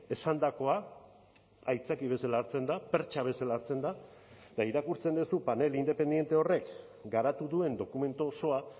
esandakoa aitzaki bezala hartzen da pertxa bezala hartzen da eta irakurtzen duzu panel independente horrek garatu duen dokumentu osoa